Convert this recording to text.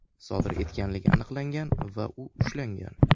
sodir etganligi aniqlangan va u ushlangan.